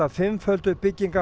fimmföldu